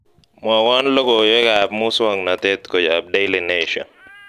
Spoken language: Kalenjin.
mwowon logoiwek ab musong'notet kuyob daily nation